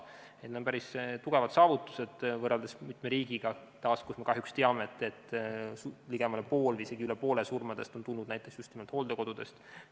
Need on päris suured saavutused võrreldes mitme riigiga, kus, nagu me teame, on kahjuks ligemale pool või isegi üle poole surmadest tulnud just nimelt hooldekodudest.